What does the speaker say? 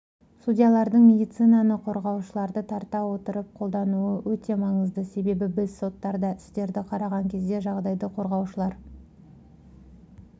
судьялардың медиацияны қорғаушыларды тарта отырып қолдануы өте маңызды себебі біз соттарда істерді қараған кезде жағдайды қорғаушылар